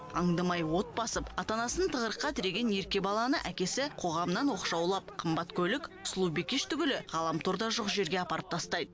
аңдамай от басып ата анасын тығырыққа тіреген ерке баланы әкесі қоғамнан оқшаулап қымбат көлік сұлу бикеш түгілі ғаламтор да жоқ жерге апарып тастайды